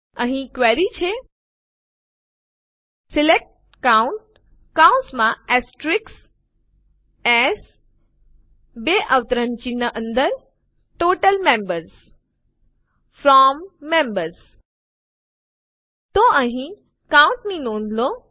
અહીં ક્વેરી છે select COUNT as total members from members તો અહીં કાઉન્ટ ની નોંધ લો